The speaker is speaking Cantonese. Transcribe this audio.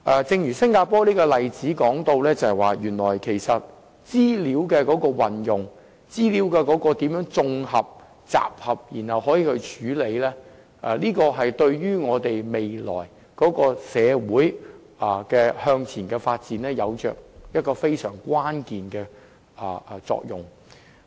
正如新加坡的這個例子，原來如何運用、綜合、集合和處理資料，對我們未來社會向前發展有非常關鍵的作用。